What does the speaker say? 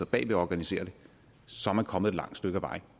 bagved og organiserer det så er man kommet et langt stykke ad vejen